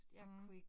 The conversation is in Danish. Mh